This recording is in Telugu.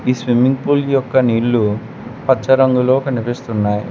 ఈ స్విమ్మింగ్ పూల్ యొక్క నీళ్లు పచ్చ రంగులో కనిపిస్తున్నాయి.